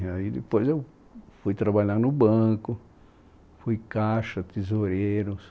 Aí depois eu fui trabalhar no banco, fui caixa, tesoureiros.